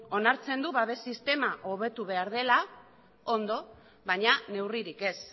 onartzen du babes sistema hobetu behar dela ondo baina neurririk ez